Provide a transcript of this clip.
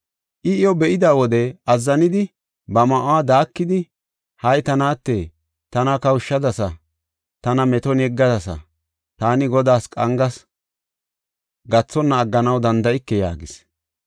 I iyo be7ida wode azzanidi ba ma7uwa daakidi, “Hay ta naate! Tana kawushadasa; tana meton yeggadasa. Taani Godaas qangas; gathonna agganaw danda7ike” yaagis.